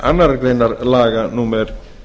annarrar greinar laga númer